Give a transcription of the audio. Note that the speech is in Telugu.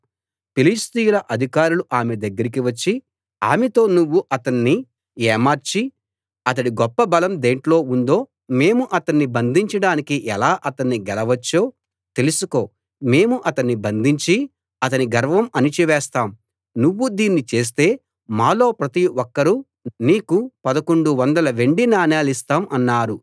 ఫిలిష్తీయుల అధికారులు ఆమె దగ్గరికి వచ్చి ఆమెతో నువ్వు అతణ్ణి ఏమార్చి అతడి గొప్ప బలం దేంట్లో ఉందో మేము అతణ్ణి బంధించడానికి ఎలా అతణ్ణి గెలవవచ్చో తెలుసుకో మేము అతణ్ణి బంధించి అతని గర్వం అణచివేస్తాం నువ్వు దీన్ని చేస్తే మాలో ప్రతి ఒక్కరూ నీకు పదకొండు వందల వెండి నాణేలిస్తాం అన్నారు